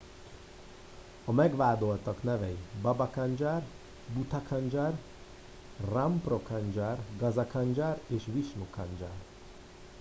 a megvádoltak nevei baba kanjar bhutha kanjar rampro kanjar gaza kanjar és vishnu kanjar